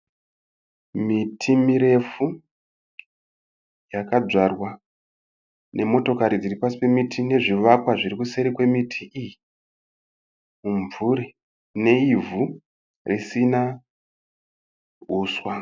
Miti mirefu yakadzvarwa nemotokari dziri pasi pemiti nezvivakwa zviri seri kwemiti iyi. Mimvuri neivhu risina huswa.